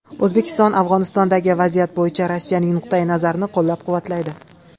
O‘zbekiston Afg‘onistondagi vaziyat bo‘yicha Rossiyaning nuqtai nazarini qo‘llab-quvvatlaydi.